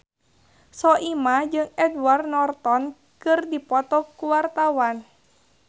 Soimah jeung Edward Norton keur dipoto ku wartawan